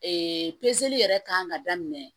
Ee pezeli yɛrɛ kan ka daminɛ